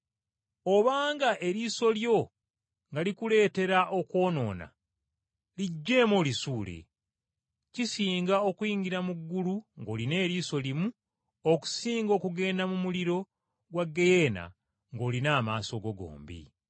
Obanga eriiso lyo nga likuleetera okwonoona, liggyeemu olisuule. Kisinga okuyingira mu ggulu ng’olina eriiso limu okusinga okusuulibwa mu muliro gwa ggeyeena ng’olina amaaso go gombi.”